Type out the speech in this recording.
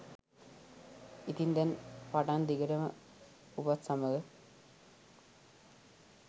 ඉතින් දැන් පටන් දිගටම ඔබත් සමඟ